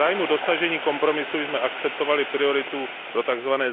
V zájmu dosažení kompromisu jsme akceptovali prioritu pro tzv.